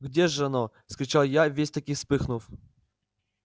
где ж оно вскричал я весь так и вспыхнув